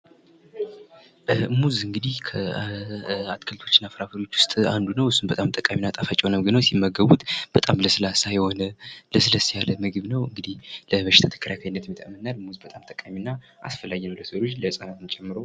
ሙዝ እንግዲህ ከአትክልቶች እና ፍራፍሬዎች ዉስጥ አንዱ ነው። እሱም በጣም ጠቃሚ እና ጣፋጭ የሆነ ምግብ ነው። ሲመገቡት በጣም ለስላሳ የሆነ ለስለስ ያለ ምግብ ነው። እንግዲህ ለበሽታ ተከላካይነትም ይጠቅመናል ሙዝ በጣም ጠቃሚ እና አስፈላጊ ነው ለሰው ልጅ ለህጻናትም ጨምሮ።